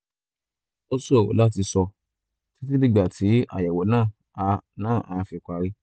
ó ṣòro láti sọ títí dìgbà tí àyẹ̀wò náà á náà á fi parí